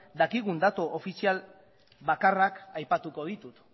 dakigun datu ofizial bakarrak aipatuko ditut